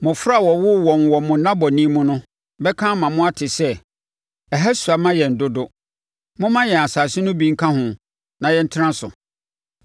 Mmɔfra a wɔwoo wɔn wɔ mo nnabɔne mu no bɛka ama moate sɛ, ‘Ɛha sua ma yɛn dodo; momma yɛn asase no bi nka ho na yɛntena so.’